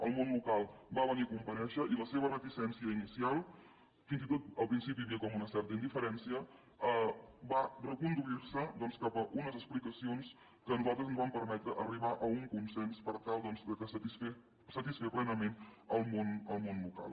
el món local va venir a comparèixer i la seva reticència inicial fins i tot al principi hi havia com una certa indiferència va reconduir se doncs cap a unes explicacions que a nosaltres ens van permetre arribar a un consens per tal doncs de satisfer plenament el món local